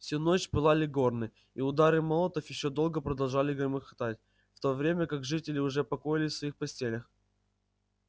всю ночь пылали горны и удары молотов ещё долго продолжали громыхатать в то время как жители уже покоились в своих постелях